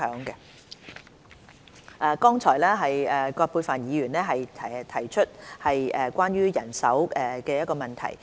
剛才葛珮帆議員提出關於人手的問題。